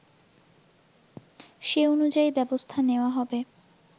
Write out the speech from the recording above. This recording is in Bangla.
সে অনুযায়ী ব্যবস্থা নেওয়া হবে